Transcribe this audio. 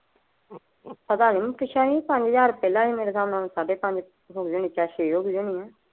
ਪਤਾ ਨਹੀਂ ਮੈ ਪੁੱਛਿਆ ਨਹੀਂ, ਪੰਜ ਹਜ਼ਾਰ ਪਹਿਲਾ ਸੀ ਮੇਰੇ ਖਿਆਲ ਹੁਣ ਸਾਡੇ ਪੰਜ ਜਾ ਛੇ ਹੋ ਗਈ ਹੋਣੀ ਏ।